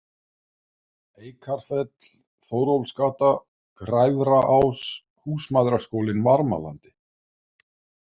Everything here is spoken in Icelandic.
Eikarfell, Þórólfsgata, Græfraás, Húsmæðraskólinn Varmalandi